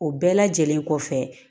O bɛɛ lajɛlen kɔfɛ